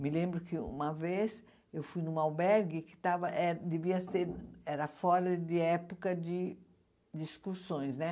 Me lembro que uma vez eu fui em um albergue que estava eh devia ser era fora de época de de excursões, né?